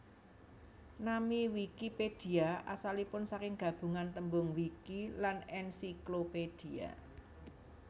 Nami Wikipédia asalipun saking gabungan tembung wiki lan encyclopedia